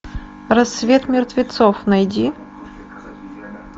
рассвет мертвецов найди